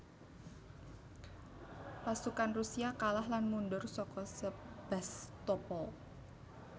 Pasukan Rusia kalah lan mundhur saka Sebastopol